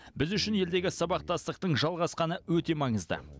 біз үшін елдегі сабақтастықтың жалғасқаны өте маңызды